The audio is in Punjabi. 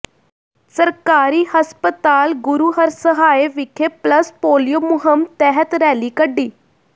ਸਰਕਾਰੀ ਹਸਪਤਾਲ ਗੁਰੂਹਰਸਹਾਏ ਵਿਖੇ ਪਲਸ ਪੋਲੀਓ ਮੁਹਿੰਮ ਤਹਿਤ ਰੈਲੀ ਕੱਢੀ